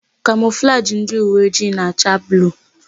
Kamọflajị ndị uweojii na-acha bluu.